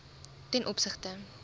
ten opsigte